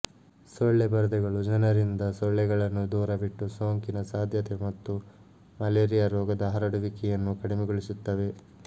ಸೊಳ್ಳೆ ಪರದೆಗಳು ಜನರಿಂದ ಸೊಳ್ಳೆಗಳನ್ನು ದೂರವಿಟ್ಟು ಸೋಂಕಿನ ಸಾಧ್ಯತೆ ಮತ್ತು ಮಲೇರಿಯಾ ರೋಗದ ಹರಡುವಿಕೆಯನ್ನು ಕಡಿಮೆಗೊಳಿಸುತ್ತವೆ